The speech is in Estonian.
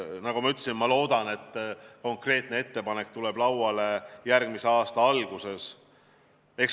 Nagu ma ütlesin, ma loodan, et konkreetne ettepanek tuleb lauale järgmise aasta alguses.